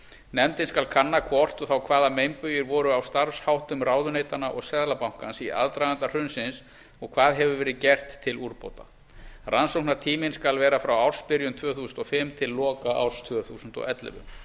nefndin skal kanna hvort og þá hvaða meinbugir voru á starfsháttum ráðuneytanna og seðlabankans í aðdraganda hrunsins og hvað hefur verið gert til úrbóta rannsóknartíminn skal vera frá ársbyrjun tvö þúsund og fimm til loka ársins tvö þúsund og ellefu